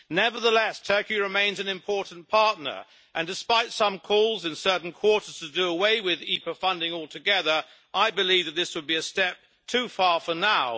Nevertheless, Turkey remains an important partner, and despite some calls in certain quarters to do away with IPA funding altogether, I believe that this would be a step too far for now.